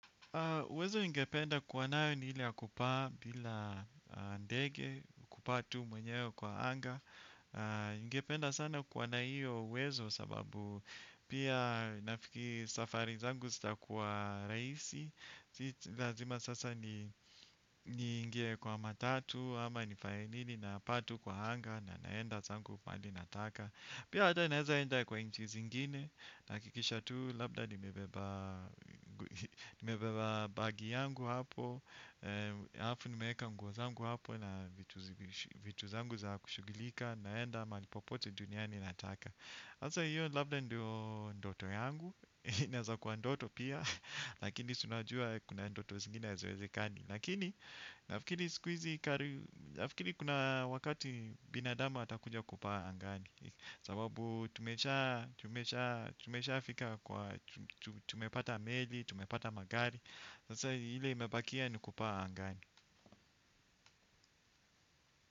Uwezo ningependa kuwa nayo ni ile ya kupaa bila ndege ya kupaa tu mwenyewe kwa anga. Ningependa sana kuwa na hiyo uwezo sababu pia nafikiri safari zangu zitakuwa rahisi silazima sasa ni ni ingie kwa matatu ama nifanye nini na paa tu kwa anga na naenda zangu mahali nataka. Pia ata naeza enda kwa inchi zingine na kikisha tu labda nimebeba nimebeba bagi yangu hapo. Alafu nimeweka nguo zangu hapo na vitu zangu za kushughulika naenda mahali popote duniani nataka hasa hiyo labda ndio ndoto yangu, inaweza kuwa ndoto pia lakini si unajuwa kuna ndoto zingine haziwezekani lakini nafikiri kuna wakati binadamu atakuja kupaa angani sababu tumesha tumesha tumesha fika kwa tumepata meli tumepata magari sasa ile imebakia nikupaa angani.